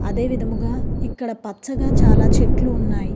అదే విధముగా ఇక్కడ పచ్చగా చాలా చెట్లు ఉన్నాయి.